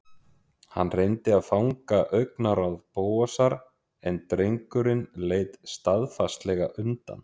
Hann reyndi að fanga augnaráð Bóasar en drengurinn leit staðfastlega undan.